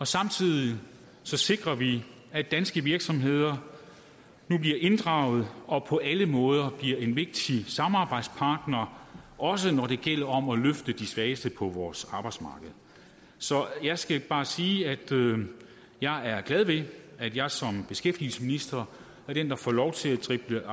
samtidig sikrer vi at danske virksomheder nu bliver inddraget og på alle måder bliver en vigtig samarbejdspartner også når det gælder om at løfte de svageste på vores arbejdsmarked så jeg skal bare sige at jeg er glad ved at jeg som beskæftigelsesminister er den der får lov til at drible